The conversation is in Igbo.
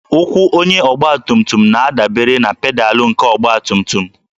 Ụkwụ onye ọgbatumtum na-adabere na pedalụ nke ọgbatumtum